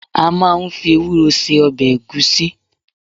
A máa ń fi ewúro se ọbẹ̀ ẹ̀gúsí.